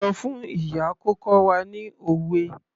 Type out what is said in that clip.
Sọ fún ìyá kó kọ́ wa ní òwe.